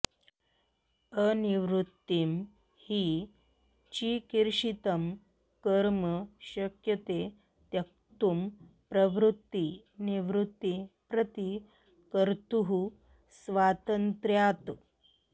अनिर्वृत्तं हि चिकीर्षितं कर्म शक्यते त्यक्तुं प्रवृत्तिनिवृत्ती प्रति कर्तुः स्वातन्त्र्यात्